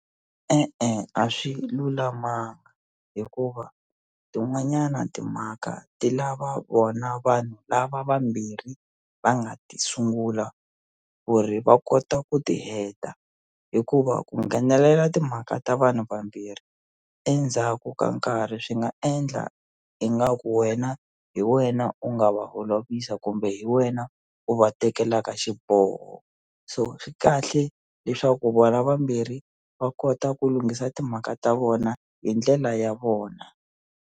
E-e a swi lulamanga hikuva tin'wanyana timhaka ti lava vona vanhu lava vambirhi va nga ti sungula ku ri va kota ku ti heta hikuva ku nghenelela timhaka ta vanhu vambirhi endzhaku ka nkarhi swi nga endla ingaku wena hi wena u nga va holovisa kumbe hi wena u va tekelaka xiboho so swi kahle leswaku vona vambirhi va kota ku lunghisa timhaka ta vona hi ndlela ya vona.